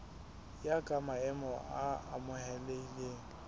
ya ka maemo a amohelehileng